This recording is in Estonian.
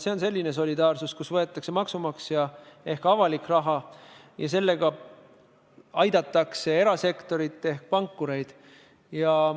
See on selline solidaarsus, kus võetakse maksumaksja raha ehk avalik raha ja aidatakse sellega erasektorit ehk pankureid.